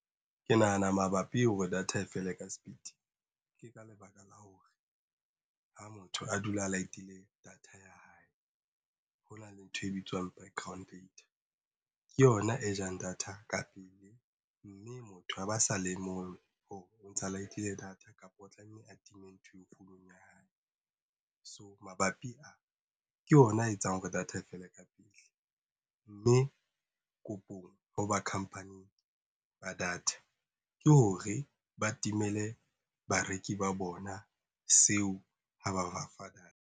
Ke nahana mabapi hore data e fela ka speed. Ke ka lebaka la hore ha motho a dula a light-ile data ya hae ho na le ntho e bitswang ke yona e jang data ka pele mme motho a ba sa le e lemohe hore o ntsha light-ile data kapa o tlameha atime nthweo founong ya hae. So mabapi a ke ona a etsang hore data e fele ka pele. Mme kopong hoba khampaning ba data ke hore ba timele bareki ba bona seo ha ba ba fa data.